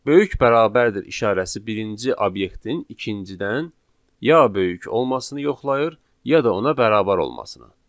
Böyük bərabərdir işarəsi birinci obyektin ikincidən ya böyük olmasını yoxlayır, ya da ona bərabər olmasına.